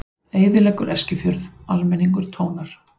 Eyðileggur Eskifjörð, almenningur tónar